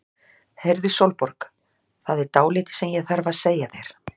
Heyrðu Sólborg. það er dálítið sem ég þarf að segja þér.